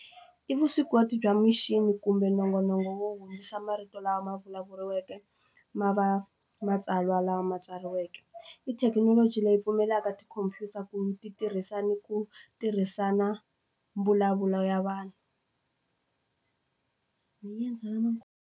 I vuswikoti bya mixini kumbe nongonoko wo hundzisa marito lama ma vulavuriweke ma va matsalwa lawa ma tsariweke tithekinoloji leyi pfumelaka tikhompyuta ku mi ti tirhisana ku tirhisana mbulavulo ya vanhu .